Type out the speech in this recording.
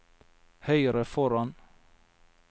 høyre foran